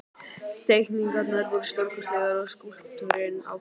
Teikningarnar voru stórkostlegar og skúlptúrinn ágætur.